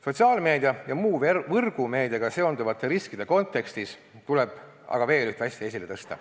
Sotsiaalmeedia ja muu võrgumeediaga seonduvate riskide kontekstis tuleb aga veel ühte asja esile tõsta.